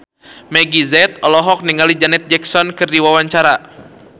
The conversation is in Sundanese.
Meggie Z olohok ningali Janet Jackson keur diwawancara